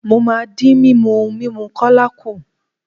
Mo máa dín mímu ohun mímu kólà kù.